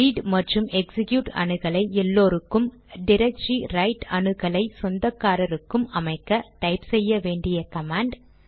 read மற்றும் execute அணுகலை எல்லோருக்கும் டிரக்டரி ரைட் அணுகலை சொந்தக்காரருக்கும் அமைக்க டைப் செய்ய வேண்டிய கமாண்ட்